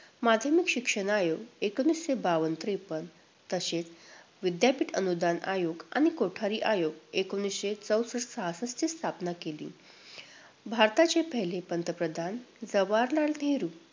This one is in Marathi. माध्यमिक शिक्षण आयोग एकोणवीसशे बावन्न - त्रेपन्न तसेच विद्यापीठ अनुदान आयोग आणि कोठारी आयोग एकोणवीसशे चौसष्ट - सहासष्टची स्थापना केली. भारताचे पहिले पंतप्रधान जवाहरलाल नेहरू